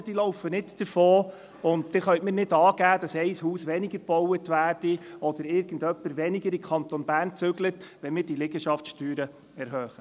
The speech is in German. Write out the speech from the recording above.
Die Liegenschaften laufen nicht davon, und Sie können mir nicht sagen, dass ein Haus weniger gebaut wird oder dass irgendjemand nicht in den Kanton Bern zieht, wenn wir diese Liegenschaftssteuern erhöhen.